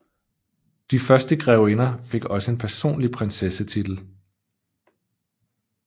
De første grevinder fik også en personlig prinsessetitel